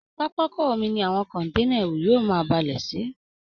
Pápákọ omi ni àwọn kọ̀ǹténà ẹrù yóò máa balẹ̀ sí